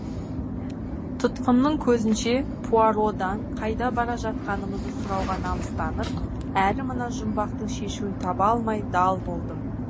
тұтқынның көзінше пуародан қайда бара жатқанымызды сұрауға намыстанып әрі мына жұмбақтың шешуін таба алмай дал болдым